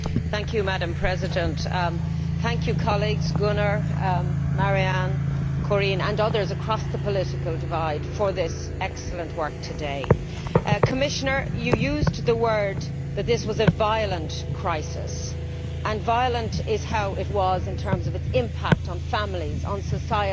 Madam President, I should like to thank colleagues Gunnar Hökmark, Marianne Thyssen, Corien Wortman Kool and others across the political divide for this excellent work today. Commissioner, you used the word that this was a violent' crisis. And violent is how it was in terms of its impact on families, on society,